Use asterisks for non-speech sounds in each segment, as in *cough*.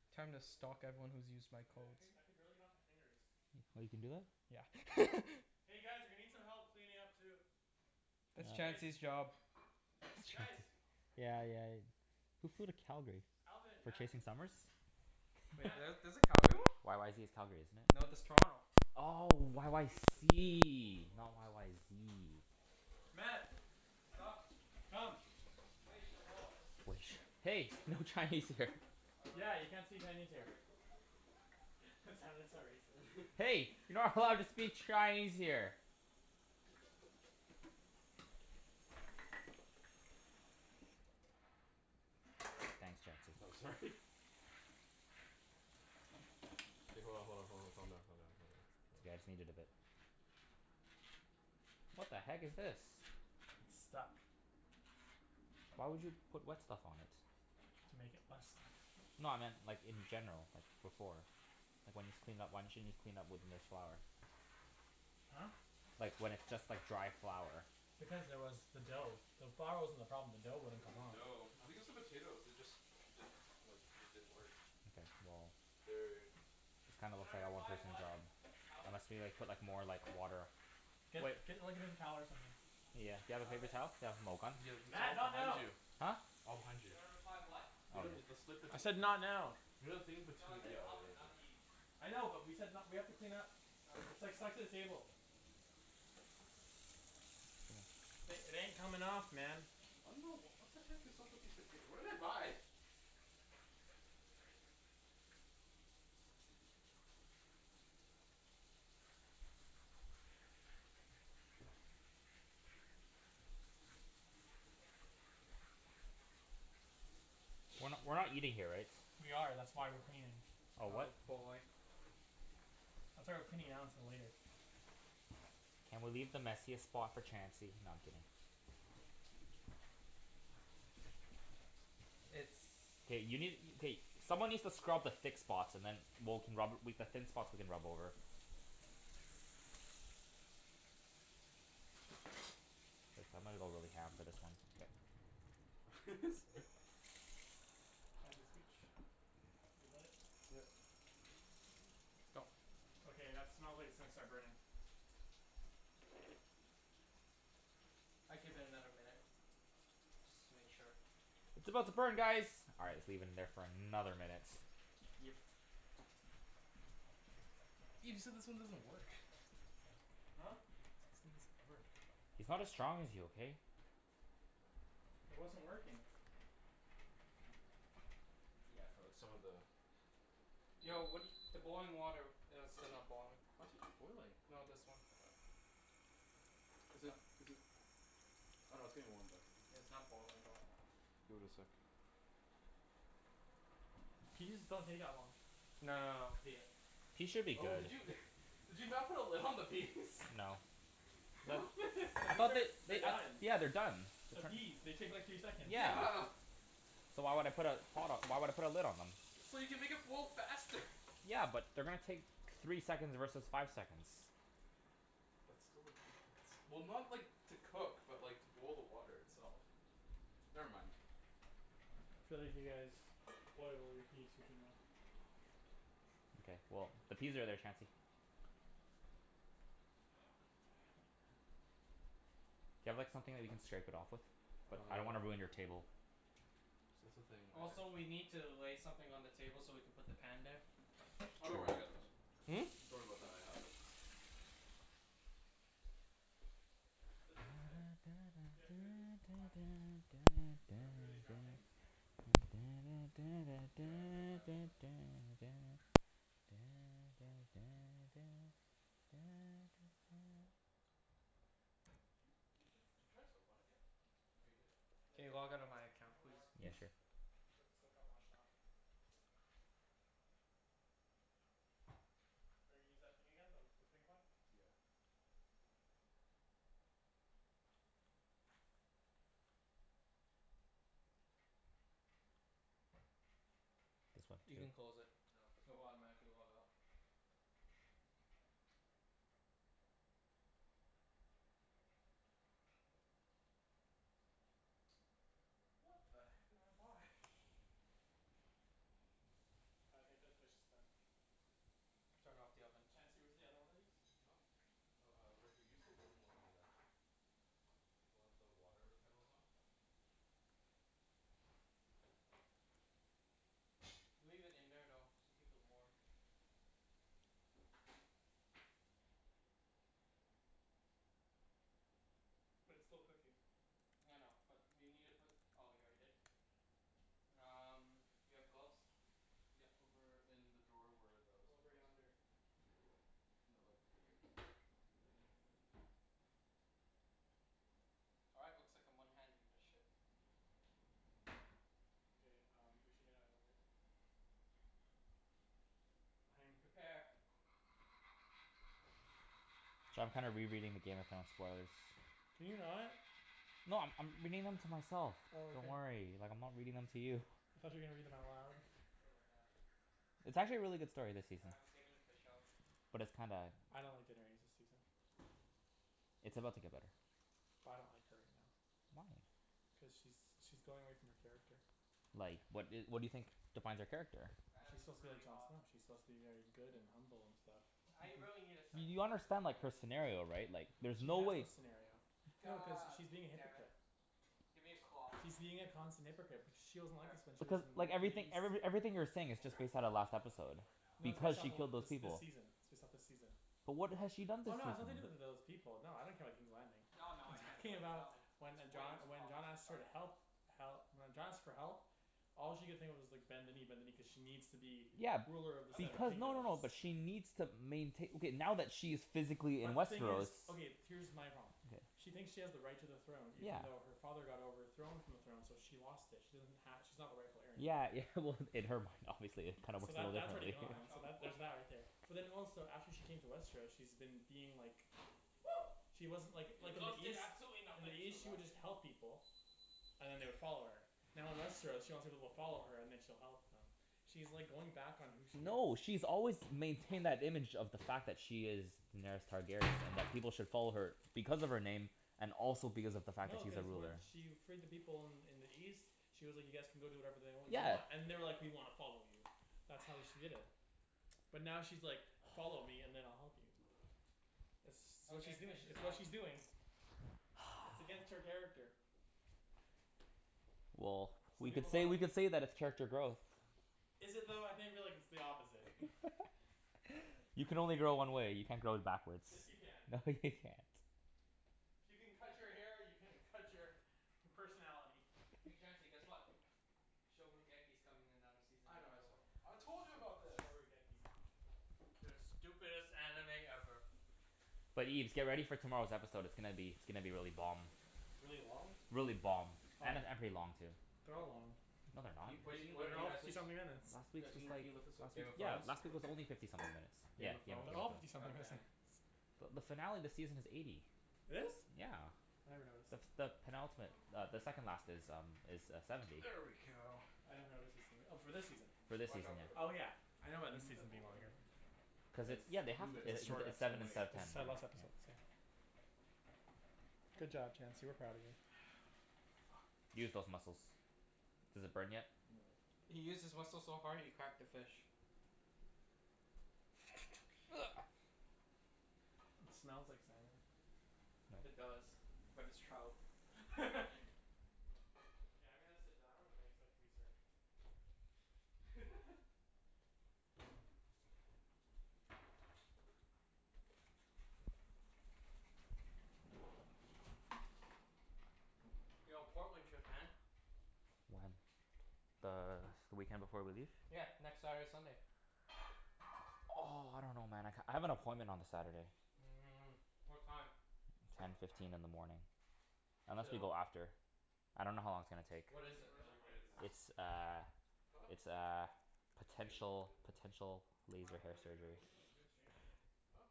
They're sticking Time to to the bowl, stalk too. everyone who's used my You know what? I codes. couldn- I could barely get it off my fingers. Y- oh, you can do that? Yeah. *laughs* Hey guys, we need some help cleaning up, too. That's Ah Guys! Chancey's job. That's Chancey Guys! Yeah, yeah. Who flew to Calgary? Alvin. For Mat. chasing summers? Wait, Mat! the- there's a Calgary one? YYZ is Calgary, isn't it? No, that's Toronto. Oh, This just in. YYC, not *inaudible* YYZ. Mat! Sup? Come! *inaudible* *inaudible* Hey! No Chinese here. Oh, right. Yeah, you can't say Chinese here. Sorry. That sounded so racist. Hey! You're not allowed to speak Chinese here! Thanks, No, Chancey. sorry. K, hold on, hold on, hold on, calm down, calm down, calm down. It's okay, I just need it a bit. What the heck is this? It's stuck. Why would you put wet stuff on it? To make it less stuck. No, I meant like, in general. Like, before. Like, when you just clean up, why didn't you just clean up with n- flour? Huh? Like, when it's just like dry flour. Because there was the dough. The flour wasn't the problem. The dough wouldn't It's come the off. dough. I think it's the potatoes. They just didn't, like, these didn't work. Okay, well. They're already in. This kinda Should I looks like a one reply, person "What?" job. Alvin? Unless we like, put like, more like, water Get Wait get like a paper towel or something. Yeah, do you have a paper Alvin? towel? Yeah, *inaudible* the Mat, towel's not behind now! you. Huh? All behind Should you. I reply, "What?" You know, Oh. it's the slip it I said not now. You know the thing in No, I between, yeah, said you're Alvin, right not there. Ibs. I know, but we said n- we have to clean up. Okay. It's like set the table. Uh Th- it ain't coming off, man. I don't know. What the heck is up with these potato? What did I buy? We're not Shee- we're not eating here, right? We are. That's Yeah, you why we're are. cleaning. Oh, what? Oh boy. That's why we're cleaning now instead of later. Can we leave the messiest spot for Chancey? No, I'm kidding. It's K, you need, k someone needs to scrub the thick spots and then we'll can rub, we, the thin spots we can rub over. K, I'm gonna go really *inaudible* for this one. *laughs* Sorry. Chancey, scooch your butt. Yeah. No. Okay, that smells like it's gonna start burning. I'd give it another minute. Just to make sure. It's about to burn guys! All right, let's leave it in there for another minute. Yep. Ibs, you said this one doesn't work. Huh? Said this thing doesn't work. He's not as strong as you, okay? It wasn't working. Yeah, for like, some of the Yo, what do *inaudible* y- the boiling water it is still not boiling. What? Boiling. No, this one. Is it is it Oh no, it's getting warm, though. Yeah, it's not boiling though. Give it a sec. Peas don't take that long. No no no, the Peas should be Oh, did good. you *laughs* did you not put a lid on the peas? No. The, I *laughs* thought that *inaudible* they're they uh, done. yeah, they're done. They're They're tr- peas. They take like three seconds. Yeah. Yeah. So why would I put a pot o- why would I put a lid on them? So you can make it boil faster. Yeah, but they're gonna take three seconds versus five seconds. That's still a difference. Well, not like, to cook, but like to boil the water itself. Never mind. Feel like you guys boil all your peas for too long. K, well, the peas are there, Chancey. Oh god, help, man. Do you have like, something that you can scrape it off with? But I don't wanna Uh ruin your table. See, that's the thing. Also, We can't we need to lay something on the table so we can put the pan there. Oh, don't worry. I True. got those. Hmm? Don't worry about that. I have it. There's this thing. If you have two of these, we're fine. Sorry? Two of these round things? Yeah, I re- I've *inaudible* Did you did you put, did you try soap on it yet? Oh, you did? *noise* I did. Can you log outta my You account have more. please? Yeah, *laughs* sure. Yeah. Cuz the soap got washed off. Are you gonna use that thing again? The the pink *noise* one? Yeah. This one, You can too? close it. No, it's not It'll working. automatically log out. *inaudible* What the heck did I buy? *noise* I think this fish is done. Turn off the oven. Chancey, where's the other one of these? Huh? Oh, uh, right here. Use the wooden one over there. The one the water kettle's on. Leave it in there, though, to keep it warm. But it's still cooking. I know. But you need to put, oh, you already did? Um, you have gloves? Yeah, over in the drawer where the other stuff Over was. yonder. No, like here. All right, looks like I'm one-handing this ship. Okay um, we should get outta the way. *inaudible* Prepare. Cha- I'm kinda rereading the Game of Thrones spoilers. Can you not? No, I'm I'm reading them to myself. Oh, Don't okay. worry. Like, I'm not reading them to you. I thought you were gonna read them out loud. What about that? It's What's up? actually a really good story this All season. right, I'm taking the fish out. But it's kinda I don't like *inaudible* new season. It's about to get better. I don't like her right now. Why? Cuz she's she's going away from her character. Like, what i- what do you think defines her character? That is She's supposed to be like really John hot. Snow. She's supposed to be very good Mhm. and humble, and stuff. I really need a Y- second you glove. There's understand no like way I her can do it with scenario one right? hand. Like, *laughs* There there's She isn't no a has no way second glove. scenario. No, cuz God she's being a damn it. hypocrite. Give me a cloth. She's being Yeah, a I use constant this w- use hypocrite this but one. she wasn't like Where? this when she The was one Becau- that I'm in like, holding right now. everythi- *inaudible* every everything you're In saying is just corner? based out of last The one that I'm episode. using right now. No, it's based I'll Because off she pull out a of killed wh- those different this one. this people. season. It's based off this season. But what has she done Oh this no, it's *inaudible* nothing to do season? with those people. No, I don't care *inaudible* No, no, I'm I can't do talking it. Not about w- When it's uh way John, too when John hot to asked her to try. help hel- when John asks for help all she could think of was like, *noise* bend the knee, bend the My knee, cuz she god. needs to be Yeah. ruler of the That seven smells Because, no no *inaudible* no, delicious kingdoms. but though. she needs to maintai- Okay, now that she is physically in But the thing Westeros is, okay, here's my problem. Okay. She thinks she has the right to the throne Yeah. even though her father got overthrown from the throne. So she lost it. She doesn't ha- she's not the rightful heir Yeah, anymore. yeah, well, in her mind obviously it kinda So, works a that little that's already differently. *laughs* gone. Watch So out. that, there's Watch that out. right there. But then also, after she came to Westeros she's been being like Woo! she doesn't like, Your like in the gloves did East absolutely in the nothing! Push the East, she would rack just in. help people. And then they would follow her. Now in Westeros, she wants people to follow her and then she'll help them. She's like, going back on who she is. No. She's always maintained that image of the fact that she is Daenerys Targaryen, and that people should follow her because of her name, and also because of the fact that No, she's a cuz when ruler. she freed the people in in the East she was like, you guys can go do whatever they That you smells Yeah. want. And pretty they're good like, "We though. wanna follow you." That's Ah. how she did it. But now she's like "Follow Fuck. me and then I'll help you." It's s- what Okay, she's doing. fish is It's what out. she's doing. It's against her *noise* character. Well, Some we people could call say, that we could say that it's character growth. Is it though? I think that it's the opposite. *laughs* *laughs* You can only grow one way. You can't grow backwards. Yes, you can. No, you can't. If you can cut your hair you can cut your personality. Hey Chancey, guess what? *inaudible* coming another season I in know, I saw. October. I told you about this! *inaudible* The stupidest anime ever. But Ibs, get ready for tomorrow's episode. It's gonna be, it's gonna be really bomb. Really long? Really bomb. Oh And a yeah. and pretty long, too. They're A- all long. No they're not. Can you, What guys, a- can you what are lift They're you that all guys up fifty please? something minutes. Last week's Guys, can was you can like, you lift this up? last Game of week's, yeah, Thrones? last week was only *inaudible* fifty something minutes. Yeah, Game of Game of Thrones? They're Game all of Thrones. fifty God something damn. missants. But the finale of the season is eighty. It is? Yeah. I never noticed. The s- the penultimate uh, the second last is um is uh, seventy. There we go. I never noticed her singing. Oh, for this season? For this Watch season, out for the yeah. Oh bowl. yeah, I know Can about you this move that season bowl, being by the longer. way? Cuz Cuz it's it's, yeah, they have, Move it, it's it's like, it's move sev- shorter it it's seven away. instead Cuz of ten. it's their last episode, Yeah. so Good job, Chancey. We're proud of you. *noise* Fuck. Use those muscles. Does it burn yet? No. He used his muscles so hard he cracked the fish. *noise* It smells like salmon. It No. does. But it's trout. *laughs* Okay, I'm gonna sit down and I expect to be served. *laughs* *laughs* *laughs* Yo, Portland trip, man. When? The s- the weekend before we leave? Yeah. Next Saturday, Sunday. Oh, I don't know, man. I k- I have an appointment on the Saturday. Mm. What time? Ten fifteen in the morning. Unless we Till? go after. I dunno how long it's gonna take. There What must is be it, an Where are though? the easier way than plates? this. It's uh Huh? it's uh Has to be an easier way potential than this. potential Why w- laser w- hair w- wait, wait. surgery. What are you doing? Do you have a strainer? Huh?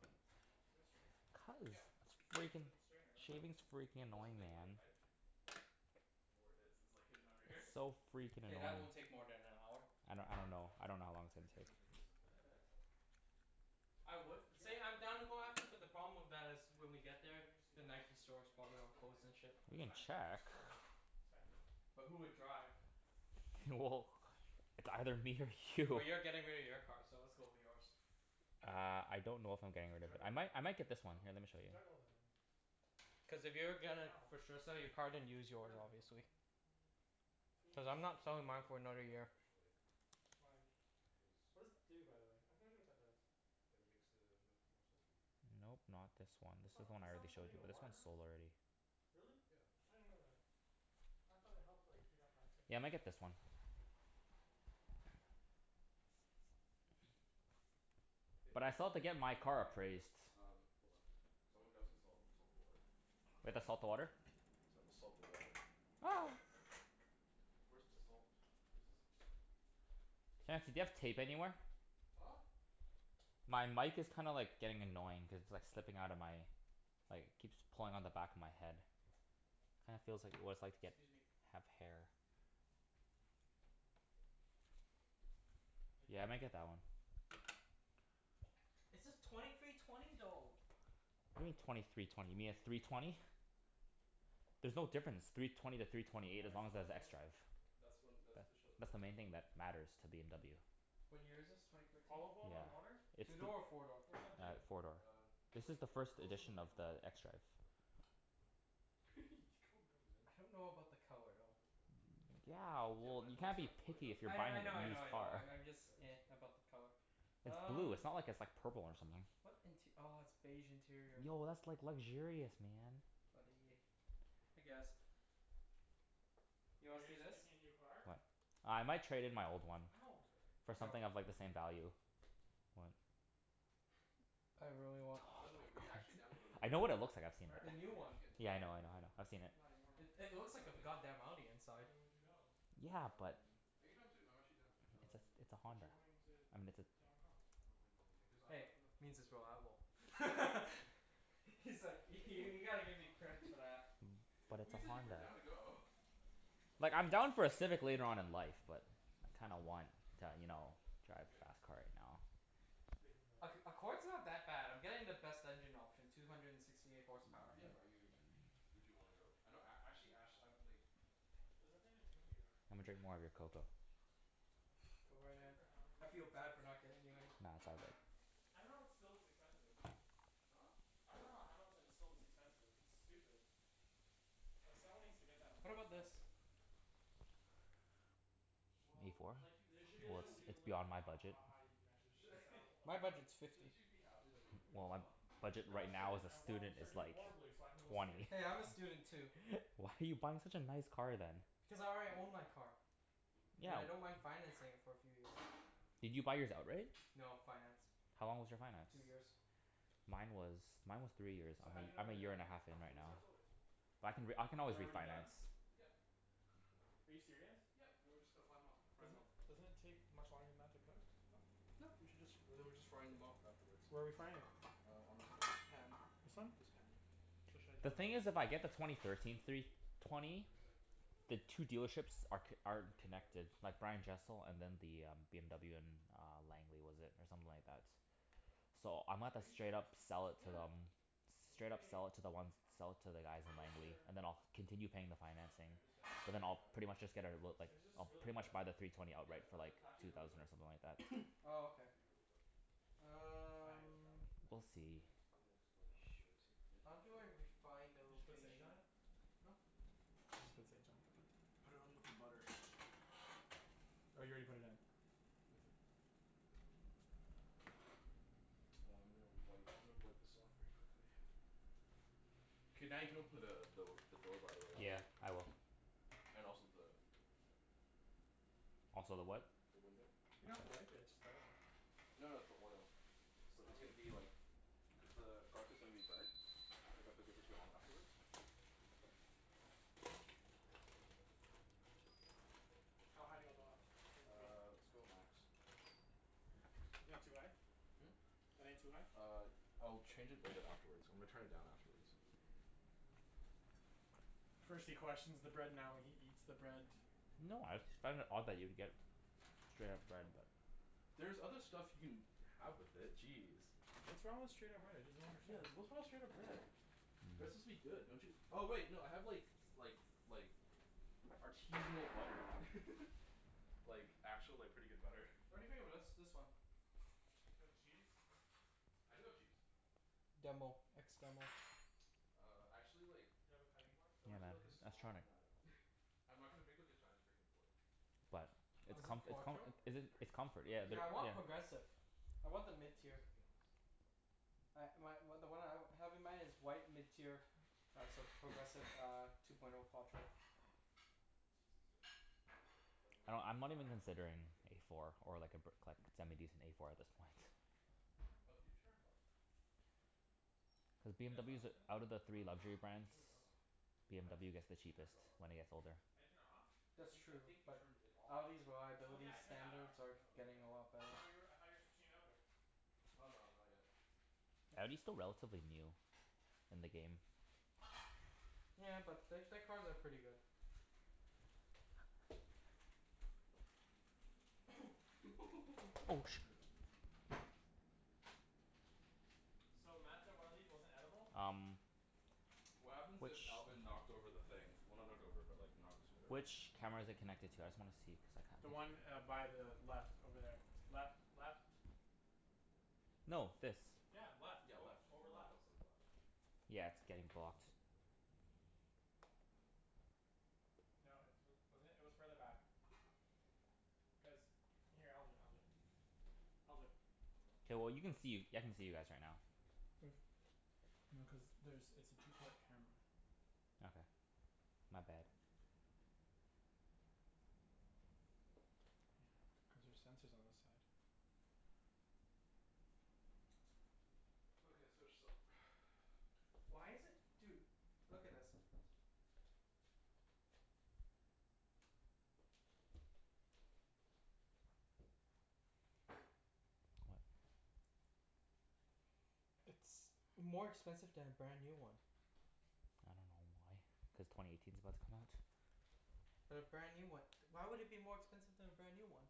Do you have a strainer? Cuz, Yeah. it's Why don't you put it freaking, in the strainer and then put it in there? shaving's freaking No, that's the annoying, thing, like man. I like don't know where it is. It's like, hidden under here. It's so freaking K, that annoying. won't take more than an hour. I I'm don't I gonna put don't it know. back. I don't know how long it's It's gonna hidden take. under here Isn't it somewhere. this? I would Yeah, say but I'm how are you down to gonna go lower after, that but the in? problem Oh, with I that is guess you can't when do we this get one? We there, can just use the that one Nike to d- store's probably to all do it closed later. and Ju- shit. We it's can fine, it's fine, it's check. fine. It's fine. But who would drive? *laughs* Well, it's either me or Well, you. you're getting rid of your car, so let's go with yours. Uh, I don't know if I'm You getting should rid of it. juggle I might them. I might get this one. Huh? Here, let me You show should you. juggle them in. Cuz if you're gonna Ow. for sure sell your car, then use I yours burned myself. obviously. I should Cuz have I'm *inaudible* not salted the selling mine water for another beforehand, year. actually. Why? Cuz What does it do, by the way? *inaudible* what that does. It makes the gnocchi more salty. Nope, not this one. This It's is the not one I already showed you. But this one's *inaudible* sold already. Really? Yeah. I didn't know that. I thought it helped like, heat up faster or Yeah, I might something. get this one. Hey, But uh I can still you have to continu- get my can you car continue doing appraised. this? Um, hold on. Cuz I wanna grab some salt and salt the water. We have to salt the water? *inaudible* Cuz I will salt the water. Ah! Where's the salt? Here's the salt. Chancey, do you have tape anywhere? Huh? My mic is kinda like, getting annoying cuz it's like, slipping outta my like, it keeps pulling on the back of my head. *noise* Kinda feels like what it's like to get, Excuse me. have hair. Yeah, I might *noise* get that one. *inaudible* It says twenty three twenty, though. What do you mean twenty three twenty? You mean a three twenty? There's no difference three twenty to three twenty Why eight, are as long some as it of has them floating? xDrive. That's when, that's That to show that they're that's the main cooked. thing that matters to BMW. What year is this? Twenty fourteen? Olive oil in Yeah. water? It's Two the door or Yeah. four door? What does that Uh, do? four door. Uh, The it like, is the it l- first coats them when edition they of come the up. xDrive. *laughs* Calm down, man. I don't know about the color though. Careful. Yeah, See that well, when you when they can't be start floating, picky if that's you're I when kn- buying like, I know I a that's know to used I show know, car. like, I'm just that it's *noise* like, about cooked. the color. It's blue. Um It's not like it's like purple or something. What int- ah, it's beige interior. Yo, that's like luxurious, man. But eh, I guess. You Are wanna you see guys this? picking a new car? What? Uh, I might trade in my old one. Ow! Sorry. For Yo. something of like, the same value. What? I really T- oh my want By the way, were you god, actually down to go New I York? know what it looks like. I've seen it. The Where? new Were you one. actually g- Yeah, I down to know, go I to New know, I York? know. I've seen it. Not anymore. It it Why looks like a not? f- *laughs* god damn Audi inside. When would you go? Yeah, but Um, anytime soon. I'm actually done. It's a Um s- it's a But you're Honda. going to I mean it's a to Hong Kong. I don't mind going there. Cuz I have Hey, enough points means for it's a free flight. reliable. *laughs* Why do He's I like, have to y- pay for you it? gotta give me Huh? credits *laughs* for that. Mm, but Well it's you a said you were Honda. down to go. Like, I'm down for a Civic later on in life, but I kinda want to, you Yeah. know, drive You a good? fast car right now. Just taking the Ac- Accord's not that bad. I'm getting the best engine option. Two hundred and sixty eight horsepower. Yeah, bu- are you would you wanna go? I know a- actually ash I like *noise* There's nothing to do in New York. I'm gonna drink more of *laughs* your cocoa. *noise* Go I was right checking ahead. for Hamilton I feel tickets and bad for that's not super getting you any. expensive. Nah, it's all good. *inaudible* expensive. Huh? I dunno Hamilton is so *inaudible* expensive. It's stupid. Like, someone needs to get that under What about control. this? A Well, sh- four? sh- Like, there sh- sh- should be as Well, a it's shouldn't you legal it's limit for beyond my how budget. ha- high you can actually sh- *laughs* sell My above budget's shouldn't fifty. you be happy that they're doing Well, my well? budget No, I right now shouldn't. as I a want him to student is start doing like, horribly so I can go see it. twenty. Hey, I'm a student too. *laughs* Why are you buying such a nice car then? Because I already own my car. And Yeah, I don't w- mind financing it for a few years. Did you buy yours outright? No. Financed. How long was your finance? Two years. Mine was mine was three years. So, I'm how do you know a when I'm they're a year and done? a half in right When they now. start floating. But I B- can re- I can u- always they're already done? refinance. Yep. Are you serious? Yep, and then we're just gonna fly 'em off. Fry 'em Doesn't off. it doesn't it take much longer than that to cook? Huh? No, you should just, and then we're just frying them off afterward. Where are we frying it? Uh, on this pan. This one? This pan, yeah. So, should I turn The thing it is, on? if I get the twenty thirteen three Give it a sec, twenty give it a sec, give it a sec, give the it a sec. two dealerships are c- Just wanna aren't make sure none of them are connected. stuck Like Brian together. Jessel and then the um, BMW in uh, Langley was it, or something like that. So, I might Are have you to Okay, yeah. straight sure? up sell it to Yeah. them. Straight up Okay. sell it to the one, s- *laughs* sell it to the guys in You're Langley. sure. And then I'll continue paying the financing. I understand why But then you're I'll doubting pretty my much just get a my my l- s- like, It's just I'll really *inaudible* pretty quick. much buy the three twenty Yeah, outright sw- for a like, it's actually two really thousand quick. or something like that. *noise* Oh, It's okay. meant to be really quick. It's fine. There's Um garlic in there. We'll It's not a big see. deal. No, it's like, I'm just worried that Shoot. like, you didn't How put do the I refine the Did you put sage location? on it? Huh? You should put sage on it. I put put it on with the butter. Oh, you already put it in? Mhm. Uh, I'm gonna wipe, I'm gonna wipe this off very quickly. K, now you can open the the the door, by the way, Yeah, Alvin. I will. And also the the the Also the what? the window. You don't Oh. have to wipe it. It's just garlic. No no, it's the oil. It's li- Oh, it's gonna really? be like cuz the garlic is gonna be burnt. If I cook it for too long afterwards. How high do you want the l- the thing to be? Uh, let's go max. Isn't that too high? Hmm? That ain't too high? Uh, I'll change it later afterwards. I'm gonna turn it down afterwards. *noise* First he questions the bread, now he eats the bread. No, I just find it odd that you would get straight up bread, but There's other stuff you can have with it. Jeez. What's wrong with straight up bread? I just don't Yeah, understand. what's wrong with straight up bread? Bread's Mmm. supposed to be good, don't you Oh wait, no, I have like like like artisanal butter. *laughs* Like, actual like, pretty good butter. What do you think of this this one? You have cheese? I do have cheese. Demo. Ex demo. Uh, actually like Do you have a cutting *noise* board? I Yeah went man, to I like a was trying small, to no I don't. I'm not gonna make like a giant frickin' board. But, What it's Is happened it to comf- your it's small com- quattro? cutting board? is Is it, it dirty? it's comfort. Oh no, Still Yeah, it's the, dirty? Yeah, I dirty, want but like yeah. progressive. I want the mid Can you use tier. something else? I my w- the one I w- have in mind is white, mid tier lots of progressive uh, two point oh quattro. Use this instead. Like, I lay dunno. 'em I'm not flat even out or considering something like A that. four or like, a bri- like, semi decent A four at this point. Oh, did you turn it off? Cuz It is on, BMWs, isn't it? outta the Oh three no, you, I luxury think you brands turned it off. What? BMW gets the I think you turned cheapest it off. when it gets older. I didn't turn it off? I That's think I true, think you but turned it off. Audi's Oh yeah, I reliability turned that off. standards are Oh, getting okay. a lot Cuz I better. thought you were, I thought you were switching over? Oh no, not yet. Audi's still relatively new. In the game. Yeah, but th- their cars are pretty good. *noise* *laughs* Dude, I Oh, can't sh- even get this. So, Mat said one of these wasn't edible? Um What happens which if Alvin knocked over the thing? Well, not knocked over but like, knocked it around? which camera is it connected to? I just wanna see cuz The I one kinda uh, by the left over there. Left. Left. No, this. Yeah, left. Yeah, Oh, left. over The laptop's left. like left. Yeah, it's getting blocked. No, it's wa- wasn't it? It was further back. Cuz, here, I'll do it. I'll do it. I'll do it. K, well you can see. I can see you guys right now. Mm. No, cuz there's, it's a two port camera. Okay. My bad. Yeah. Cuz there's sensors on this side. Okay, let's finish this up. *noise* Why is it? Dude, look at this. What? It's more *noise* expensive to have a brand new one. I dunno why. Cuz twenty eighteen's about to come out? But a brand new one? Why would it be more expensive to have a brand new one?